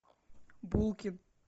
булкин